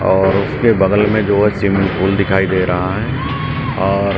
और उसके बगल में जो है स्विमिंग पूल दिखाई दे रहा है और --